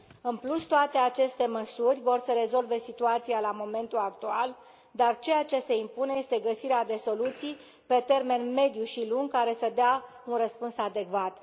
În plus, toate aceste măsuri vor să rezolve situația la momentul actual, dar ceea ce se impune este găsirea de soluții pe termen mediu și lung care să dea un răspuns adecvat.